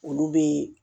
Olu bɛ